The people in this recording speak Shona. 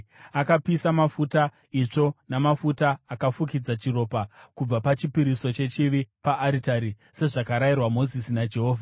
Akapisa mafuta, itsvo namafuta akafukidza chiropa kubva pachipiriso chechivi paaritari sezvakarayirwa Mozisi naJehovha.